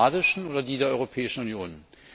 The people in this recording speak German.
Die kanadischen oder die der Europäischen Union?